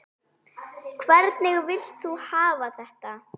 Hvernig vilt þú hafa þetta?